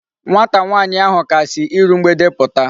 Nwata nwaanyi ahu ka si iru mgbede puta